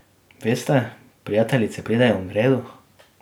Veste, prijateljice pridejo in gredo.